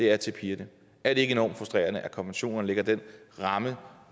er til pigerne er det ikke enormt frustrerende at konventionerne lægger den ramme